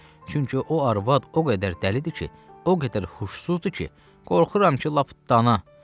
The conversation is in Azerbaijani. Çünki o arvad o qədər dəlidir ki, o qədər xuşsuzdur ki, qorxuram ki, lap dana.